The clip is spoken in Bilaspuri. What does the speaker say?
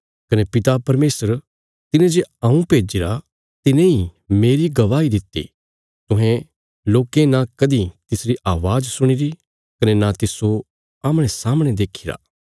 कने पिता परमेशर तिने जे हऊँ भेज्जिरा तिने इ मेरी गवाही दित्ति तुहें लोकें न कदीं तिसरी अवाज सुणिरी कने न तिस्सो आमणे सामणे देखीरा